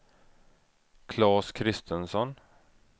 Claes Kristensson